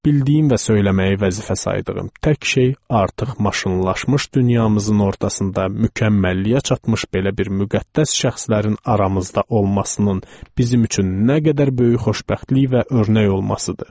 Bildiyim və söyləməyi vəzifə saydığım tək şey artıq maşınlaşmış dünyamızın ortasında mükəmməlliyə çatmış belə bir müqəddəs şəxslərin aramızda olmasının bizim üçün nə qədər böyük xoşbəxtlik və örnək olmasıdır.